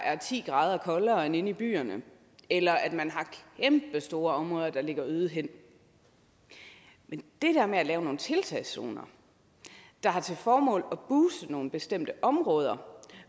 er ti grader koldere der end inde i byerne eller at man har kæmpestore områder der ligger øde hen men det der med at lave nogle tiltagszoner der har til formål at booste nogle bestemte områder